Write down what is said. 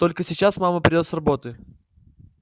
только сейчас мама придёт с работы